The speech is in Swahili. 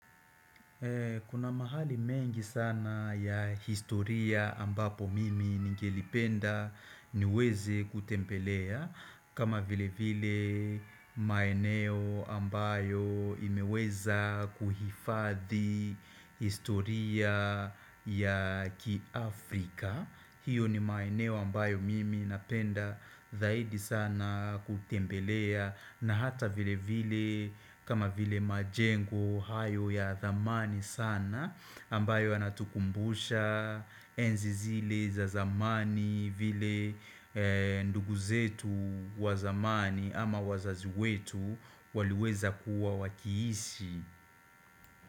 Kuna mahali mengi sana ya historia ambapo mimi ningelipenda niweze kutembelea kama vile vile maeneo ambayo imeweza kuhifadhi historia ya ki Afrika hiyo ni maeneo ambayo mimi napenda zaidi sana kutembelea na hata vile vile kama vile majengo hayo ya dhamani sana ambayo yanatukumbusha enzi zile za zamani vile ndugu zetu wa zamani ama wazazi wetu waliweza kuwa wakiishi.